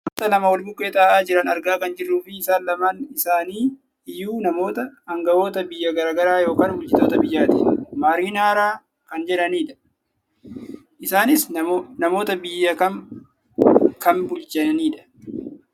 Namoota lama wal bukkee taa'aa jiran argaa kan jirruufi isaa lamaan isanii iyyuu namoota angahoota biyya gara garaa yookaan bulchitoota biyyaati. Marinara kan jiranidha. Isaanis namoota biyya kam , kam bulchamidha?